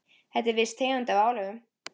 Þetta er viss tegund af álögum.